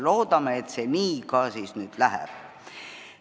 Loodame, et see nii ka nüüd läheb.